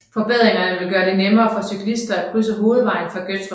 Forbedringerne vil gøre det nemmere for cyklister at krydse hovedvejen fra Gøttrupvej